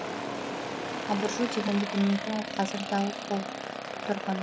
абыржу дегенді білмейтін ол қазір дал боп